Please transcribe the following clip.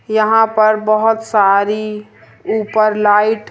यहां पर बहोत सारी ऊपर लाइट --